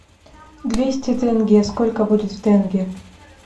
двести тенге сколько будет в тенге